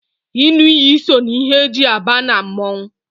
ịṅụ iyi so na ihe e ji aba na mmọnwụ